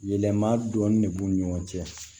Yɛlɛma dɔɔnin de b'u ni ɲɔgɔn cɛ